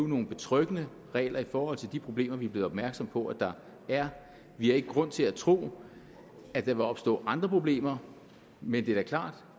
nogle betryggende regler i forhold til de problemer vi er blevet opmærksomme på at der er vi har ikke grund til at tro at der vil opstå andre problemer men det er da klart